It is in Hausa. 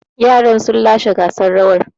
Yaran sun lashe gasar rawar.